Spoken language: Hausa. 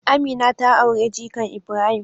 Amina ta aure jikan Ibrahim.